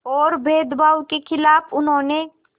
और भेदभाव के ख़िलाफ़ उन्होंने